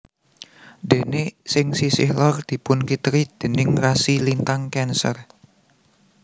Déné ing sisih lor dipunkiteri déning rasi lintang Cancer